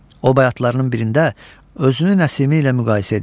O bayatılarının birində özünü Nəsimi ilə müqayisə edir.